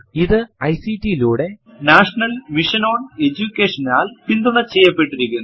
ഇത് ഐസിടി യിലൂടെ national mission on എജുകേഷനാൽ സഹായം ചെയ്യപ്പെട്ടിരിക്കുന്നു